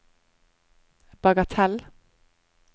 bagatell